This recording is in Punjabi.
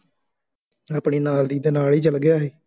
ਆਪਣੇ ਨਾਲ ਦੀ ਨਾਲ ਹੀ ਚੱਲ ਗਿਆ ਸੀ